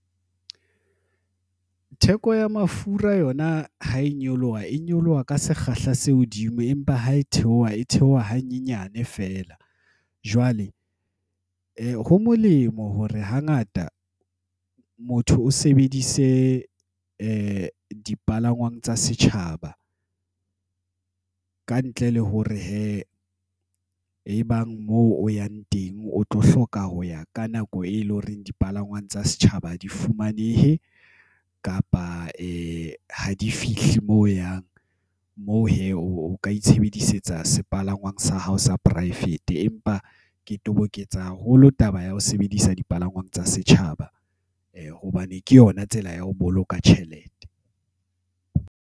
Theko ya mafura yona ha e nyoloha, e nyoloha ka sekgahla se hodimo empa ha e theoha, e theoha hanyenyane feela. Jwale ho molemo hore hangata motho o sebedise dipalangwang tsa setjhaba. Ka ntle le hore hee, ebang moo o yang teng o tlo hloka ho ya ka nako eleng hore dipalangwang tsa setjhaba ha di fumanehe kapa ha di fihle moo o yang. Moo hee, o ka itshebedisetsa sepalangwang sa hao sa poraefete. Empa ke toboketsa haholo taba ya ho sebedisa dipalangwang tsa setjhaba hobane ke yona tsela ya ho boloka tjhelete.